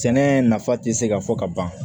Sɛnɛ nafa te se ka fɔ ka ban